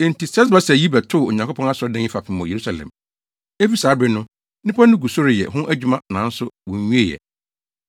“Enti Sesbasar yi bɛtoo Onyankopɔn asɔredan yi fapem wɔ Yerusalem. Efi saa bere no, nnipa no gu so reyɛ ho adwuma nanso wonwiee ɛ.”